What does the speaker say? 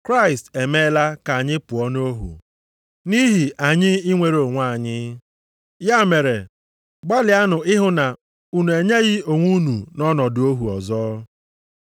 Kraịst emeela ka anyị pụọ nʼohu, nʼihi anyị inwere onwe anyị. Ya mere, gbalịanụ ịhụ na unu e nyeghị onwe unu nʼọnọdụ ohu ọzọ.